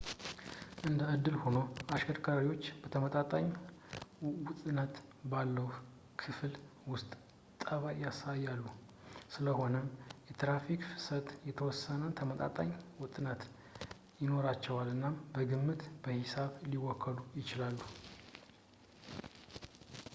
እንደ እድል ሆኖ ፣ አሽከርካሪዎች በተመጣጣኝ ወጥነት ባለው ክልል ውስጥ ጠባይ ያሳያሉ፡ ስለሆነም የትራፊክ ፍሰቶች የተወሰነ ተመጣጣኝ ወጥነት ይኖራቸዋል እናም በግምት በሂሳብ ሊወከሉ ይችላሉ